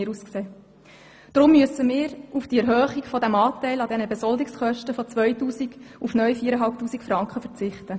Deshalb müssen wir auf die Erhöhung des Anteils an den Besoldungskosten verzichten.